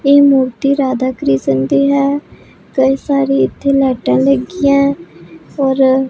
ਇਹ ਮੂਰਤੀ ਰਾਧਾ ਕ੍ਰਿਸ਼ਨ ਦੀ ਹੈ ਕਈ ਸਾਰੀ ਇੱਥੇ ਲਾਈਟਾਂ ਲੱਗੀਐਂ ਔਰ --